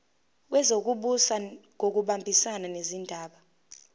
wezokubusa ngokubambisana nezindaba